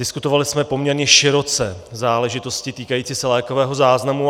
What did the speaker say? Diskutovali jsme poměrně široce záležitosti týkající se lékového záznamu.